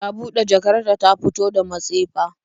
Ta bude jakar ta ta fito da matsefa